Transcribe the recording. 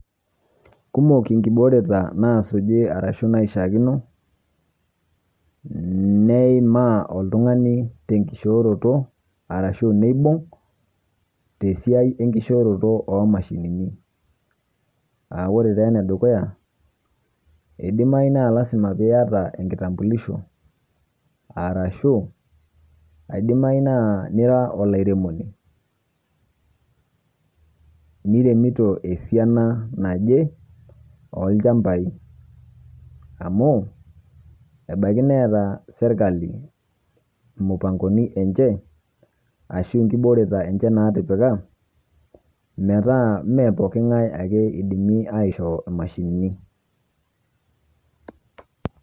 Kumok inkiboreta naasuji arashu naishakino nneeimaa oltung'ani tenkishooroto arashu neibung' tesiai enkishooroto oomashinini. [Aa] ore taa enedukuya, eidimayu naa  lasima piiata enkitambulisho arashu aidimayu naa nira olairemoni niremito esiana naje oolchambai amu ebaiki neeta serkali mupangoni enche ashu inkiboreta enche natipika metaa meepooking'ai ake eidimi aisho imashinini.